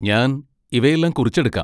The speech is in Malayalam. ഞാൻ ഇവയെല്ലാം കുറിച്ചെടുക്കാം.